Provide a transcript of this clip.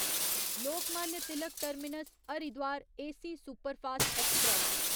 Lokmanya Tilak terminus Haridwar AC superfast express